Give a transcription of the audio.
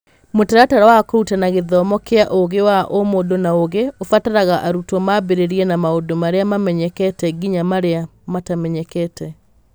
Mũtaratara wa kũrutana gĩthomo kĩa ũgĩ wa ũmũndũ na ũgĩ ũbataraga arutwo mambĩrĩrie na maũndũ marĩa mamenyekete nginya marĩa matamenyekete.